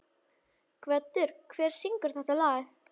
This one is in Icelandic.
Gvöndur, hver syngur þetta lag?